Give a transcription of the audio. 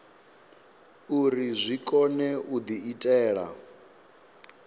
uri zwi kone u diitela